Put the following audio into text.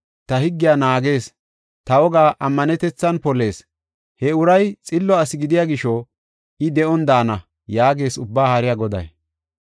Ta higgiya naagees; ta wogaa ammanetethan polees; he uray xillo asi gidiya gisho I de7on daana” yaagees Ubbaa Haariya Goday.